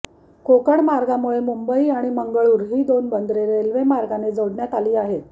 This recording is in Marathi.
कोकण मार्गामुळे मुंबई आणि मंगळुरू ही दोन बंदरे रेल्वे मार्गाने जोडण्यात आली आहेत